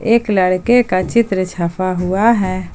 एक लड़के का चित्र छपा हुआ है।